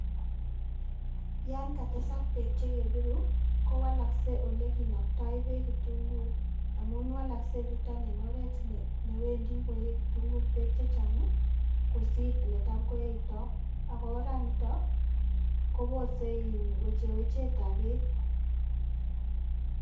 Yon katesak beek che kepiru kowalaskei ole kinaktoe beek kitunguuk amun walaskei nitok eng oret newendi koe kitunguuk beek chechang kosiir ole tam koeitoi. Ak oranitok kowosei wechewechetab beek.